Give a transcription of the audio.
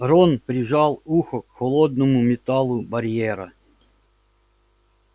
рон прижал ухо к холодному металлу барьера